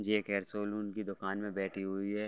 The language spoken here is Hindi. ये एक हेयर सैलून की दुकान में बैठी हुई है।